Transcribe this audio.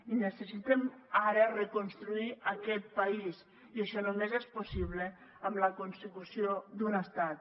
i necessitem ara reconstruir aquest país i això només és possible amb la consecució d’un estat